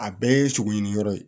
A bɛɛ ye sogo ɲini yɔrɔ ye